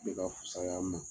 Bɛ ka fusay'an ma